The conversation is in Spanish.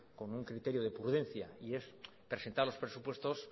con un criterio de prudencia y es presentar los presupuestos